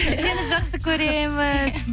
сені жақсы көреміз